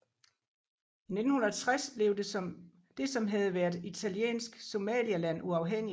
I 1960 blev det som havde været Italiensk Somaliland uafhængigt